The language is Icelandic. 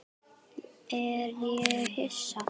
Er ég Hissa?